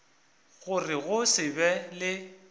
gore go se be le